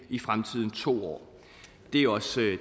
i fremtiden to år det er også